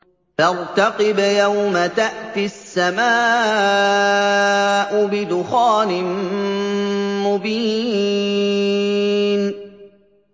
فَارْتَقِبْ يَوْمَ تَأْتِي السَّمَاءُ بِدُخَانٍ مُّبِينٍ